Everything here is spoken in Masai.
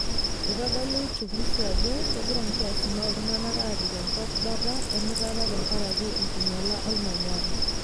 Eitodolu uchungusi ajo kegira nkiasin ooltunak aapik enkop bata emutata tenkaraki enkinyialata olmanyara